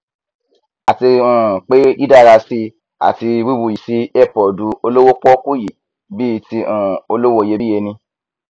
àti um pé dídárasí ati wíwuyìsí earpod olówó pọọkú yìí bíi ti um olówó iyebíye ni